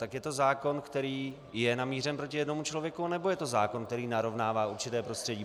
Tak je to zákon, který je namířen proti jednomu člověku, anebo je to zákon, který narovnává určité prostředí?